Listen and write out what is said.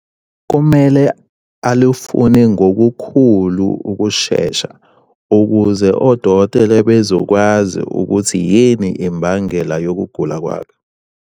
Kumele alufune ngokukhulu ukushesha ukuze odokotela bezokwazi ukuthi yini imbangela yokugula kwakhe.